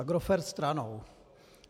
Agrofert stranou.